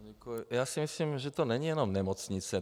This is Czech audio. Já si myslím, že to není jen nemocnice.